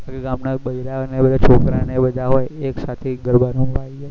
પછી ગામ ના બેરા અને બધા છોકરા ના નેબધા હોય એક સાથે ગરબા રમવા આવી જાય